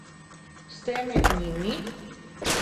Ste med njimi?